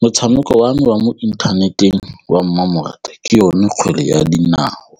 Motshameko wa me wa mo inthaneteng wa mmamoratwa ke yone kgwele ya dinao